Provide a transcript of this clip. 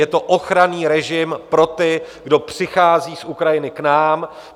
Je to ochranný režim pro ty, kdo přicházejí z Ukrajiny k nám.